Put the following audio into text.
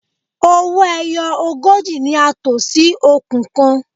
Owó ẹyọ ogójì ni a tò sí okùn kan.